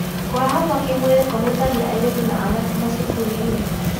kũhahamwo kĩ mwĩrĩ kũhutagia airĩtu na anake macukuru-inĩ